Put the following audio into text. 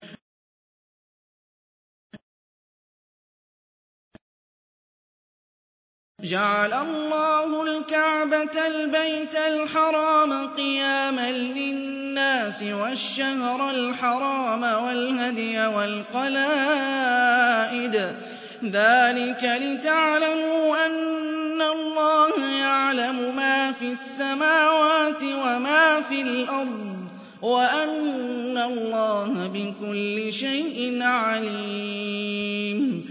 ۞ جَعَلَ اللَّهُ الْكَعْبَةَ الْبَيْتَ الْحَرَامَ قِيَامًا لِّلنَّاسِ وَالشَّهْرَ الْحَرَامَ وَالْهَدْيَ وَالْقَلَائِدَ ۚ ذَٰلِكَ لِتَعْلَمُوا أَنَّ اللَّهَ يَعْلَمُ مَا فِي السَّمَاوَاتِ وَمَا فِي الْأَرْضِ وَأَنَّ اللَّهَ بِكُلِّ شَيْءٍ عَلِيمٌ